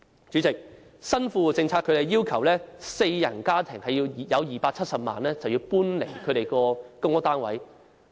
主席，根據新富戶政策，四人家庭擁有270萬元便須搬離公屋單位。